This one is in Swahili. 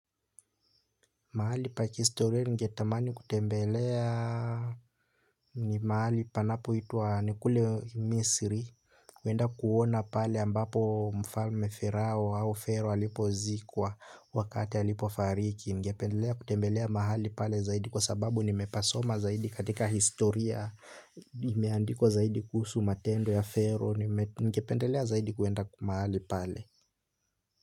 Mahali pa kihistoria ninge tamani kutembelea ni mahali panapo itwa ni kule Misiri huenda kuona pale ambapo mfalme Ferao au Fero alipozikwa wakati alipofariki ningependelea kutembelea mahali pale zaidi kwa sababu nimepasoma zaidi katika historia imeandikwa zaidi kuhusu matendo ya Fero ningependelea zaidi kwenda mahali pale.